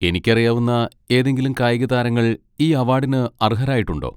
എനിക്കറിയാവുന്ന ഏതെങ്കിലും കായിക താരങ്ങൾ ഈ അവാഡിന് അർഹരായിട്ടുണ്ടോ?